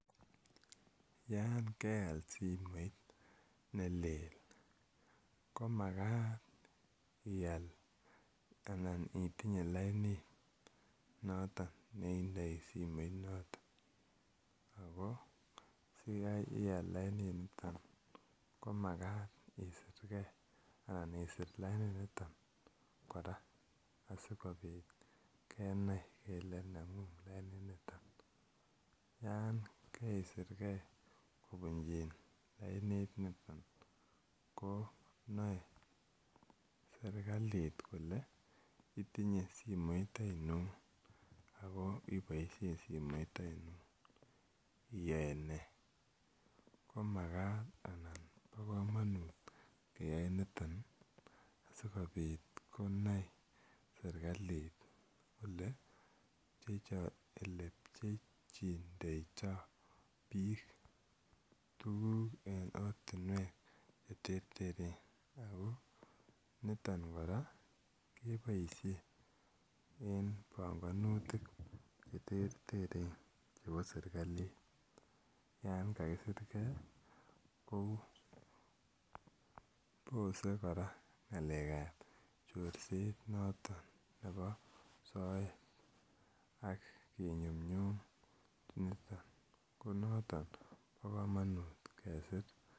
Yan keal simoit ne lel komakat ial anan itinye lainit noton ne indai simoit noton. Ako si ial laininiton ko makat isirgrei anan isir laininiton kora asikopit kenai kele neg'ung' laininiton. Yan kaisirgei kopunchin laininit niton ko nae serkalit kole itinye simoit ainon ako ipaishe simoit ainon iyae nee. Ko makat anan pa kamanut keyae niton asikopit konai serkalit ole pchehcindeitai piik tuguk eng' ortinwek che terteren. Ako niton kora kepaishen en panganutik che terteren chepo serkali yan kakisirgei kou pose kora ng'alek ap chorset noton nepo soet ak kinyumnyum niton. Ko noton ko pa kamanut kesir.